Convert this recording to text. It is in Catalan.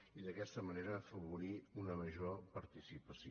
i d’aquesta manera afavorir una major participació